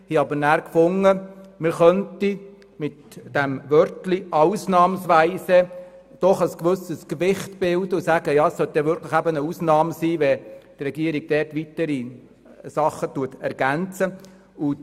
Wir haben aber nachher gemeint, dass man mit dem Wort «ausnahmsweise» doch ein bestimmtes Gewicht bilden und damit ausdrücken könnte, dass es wirklich eine Ausnahme sein solle, wenn die Regierung dort ergänzen würde.